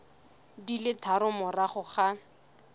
di le tharo morago ga